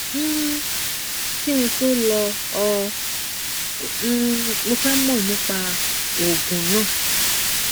um kí n tó lò ó um mo fẹ mọ nípa òògùn náà